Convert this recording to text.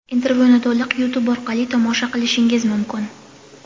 Intervyuni to‘liq Youtube orqali tomosha qilishingiz mumkin.